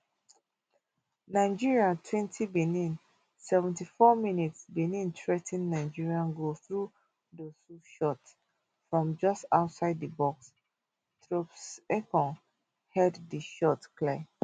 nigeria twenty benin seventy-four mins benin threa ten nigeria goal through dossou shot from just outside di box troostekong head di shot clear